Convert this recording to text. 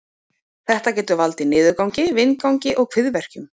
Þetta getur valdið niðurgangi, vindgangi og kviðverkjum.